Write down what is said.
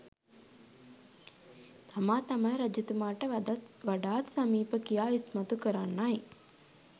තමා තමයි රජතුමාට වඩාත් සමීප කියා ඉස්මතු කරන්නයි